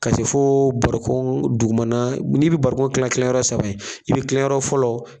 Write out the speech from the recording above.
K'a se fo bariko dugumana, n'i bɛ bariko kila kila yɔrɔ saba ye, i bɛ kila yɔrɔ fɔlɔ